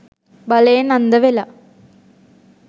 බලයෙන් අන්ධ වෙලා